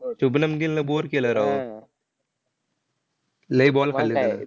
शुभनम गीलनं bore केले राव. लय ball खाल्ले त्यानं.